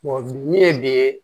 min ye bi ye